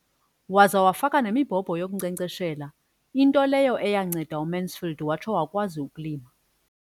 Waza wafaka nemibhobho yokunkcenkceshela, into leyo yanceda uMansfield watsho wakwazi ukulima.